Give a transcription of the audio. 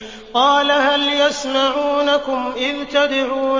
قَالَ هَلْ يَسْمَعُونَكُمْ إِذْ تَدْعُونَ